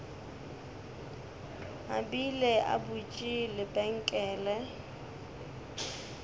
a bile a butše lebenkele